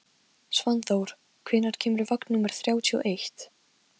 Svanþór, hvenær kemur vagn númer þrjátíu og eitt?